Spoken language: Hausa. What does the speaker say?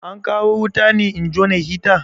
An kawo wuta ne in jona hita?